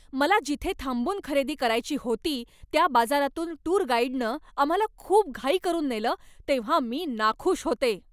मला जिथे थांबून खरेदी करायची होती त्या बाजारातून टूर गाईडनं आम्हाला खूप घाई करून नेलं तेव्हा मी नाखुश होते.